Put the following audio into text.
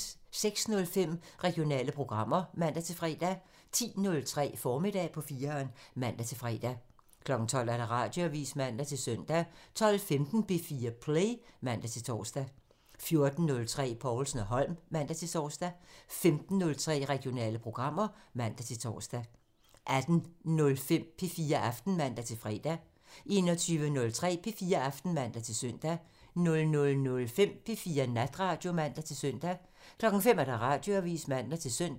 06:05: Regionale programmer (man-fre) 10:03: Formiddag på 4'eren (man-fre) 12:00: Radioavisen (man-søn) 12:15: P4 Play (man-tor) 14:03: Povlsen & Holm (man-tor) 15:03: Regionale programmer (man-tor) 18:05: P4 Aften (man-fre) 21:03: P4 Aften (man-søn) 00:05: P4 Natradio (man-søn) 05:00: Radioavisen (man-søn)